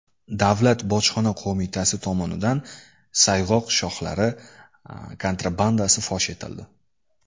Davlat bojxona qo‘mitasi tomonidan sayg‘oq shoxlari kontrabandasi fosh etildi.